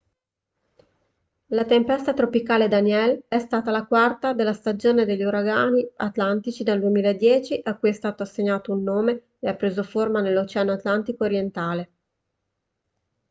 la tempesta tropicale danielle è stata la quarta della stagione degli uragani atlantici del 2010 a cui è stato assegnato un nome e ha preso forma nell'oceano atlantico orientale